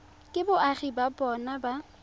ke boagi ba bona ba